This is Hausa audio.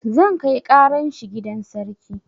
Zan kai ƙaran shi gidan sarki